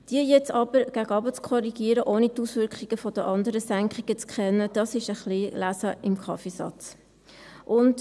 Diese jetzt aber nach unten zu korrigieren, ohne die Auswirkungen der anderen Änderungen zu kennen, das ist ein wenig Kaffeesatzlesen.